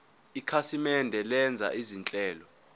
ikhasimende lenza izinhlelo